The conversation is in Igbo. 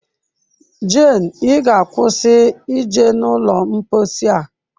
Jane, ị ga-akwụsị ije n'ụlọ mposi a!